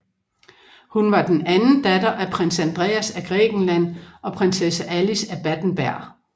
Hun var den anden datter af Prins Andreas af Grækenland og Prinsesse Alice af Battenberg